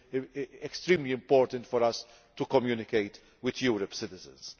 It is extremely important for us to communicate with Europe's citizens.